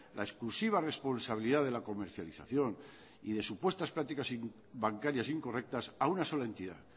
la exclusiva responsabilidad de la comercialización y de supuestas prácticas bancarias incorrectas a una sola entidad